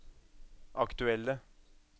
aktuelle